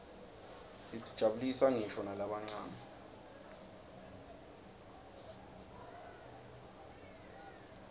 tijabulisa nqisho nalabancane